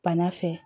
Bana fɛ